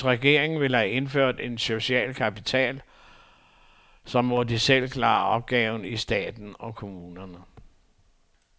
Hvis regeringen vil have indført et socialt kapitel, så må de selv klare opgaven i staten og kommunerne.